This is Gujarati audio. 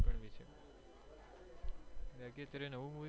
બાકી અત્યારે નવું movie